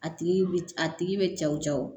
A tigi bi a tigi be cɛw cɛ wo